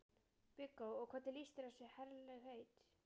Viggó: Og hvernig líst þér á þessi herlegheit?